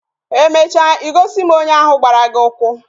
Emecha I gosi m onye ahu gbara gi ukwu